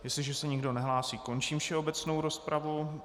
Jestliže se nikdo nehlásí, končím všeobecnou rozpravu.